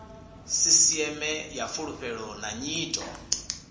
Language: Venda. sisiṱeme ya fulufhelo na nyito